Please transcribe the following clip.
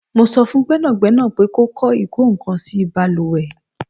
Mó so fun Gbẹ́nàgbẹ́nà pé kò kọ ikokansi baluwe